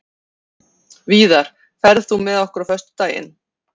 Víðar, ferð þú með okkur á föstudaginn?